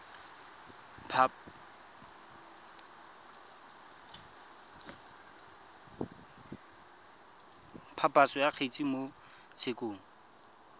phaposo ya kgetse mo tshekong